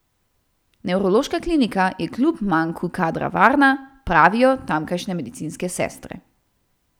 Nevrološka klinika je kljub manku kadra varna, pravijo tamkajšnje medicinske sestre.